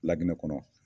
Laginɛ kɔnɔ